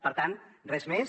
per tant res més